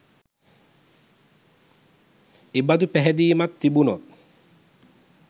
එබඳු පැහැදීමක් තිබුනොත්